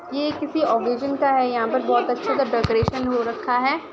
ये किसी ओगेजन का हैं यहाँ बहुत अच्छे से डेकोरेशन हो रखा है।